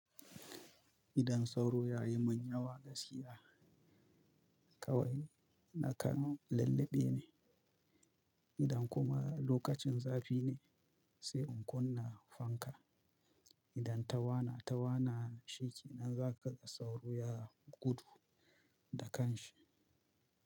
Idan sauro ya yi min yawa gaskiya kawai na kan lulluɓe ne, idan kuma lokacin zafi ne, sai in kunna fanka. Idan ta wana ta wana shi ke nan za ka ga sauro ya gudu da kanshi.